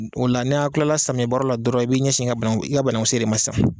O la n'a kilala samiya baaraw la dɔrɔn i bi ɲɛsin i ga bananku i ga banangu se de ma sisan